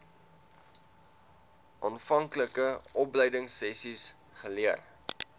aanvanklike opleidingsessies geleer